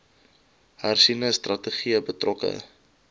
hersiene strategie betrokke